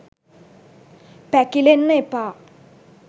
පැකිලෙන්න එපා.